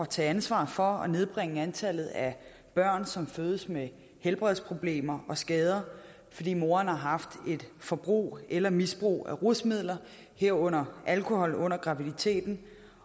tage ansvar for at nedbringe antallet af børn som fødes med helbredsproblemer og skader fordi moderen har haft et forbrug eller misbrug af rusmidler herunder alkohol under graviditeten